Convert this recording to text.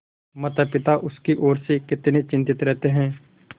मातापिता उसकी ओर से कितने चिंतित रहते हैं